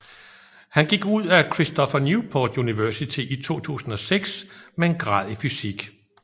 Han gik ud af Cristopher Newport University i 2006 med en grad i fysik